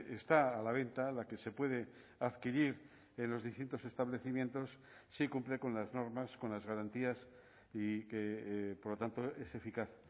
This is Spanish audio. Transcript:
está a la venta la que se puede adquirir en los distintos establecimientos sí cumple con las normas con las garantías y que por lo tanto es eficaz